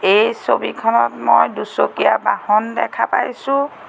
এই ছবিখনত মই দুচকীয়া বাহন দেখা পাইছোঁ।